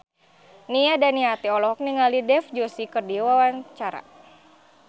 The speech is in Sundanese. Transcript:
Nia Daniati olohok ningali Dev Joshi keur diwawancara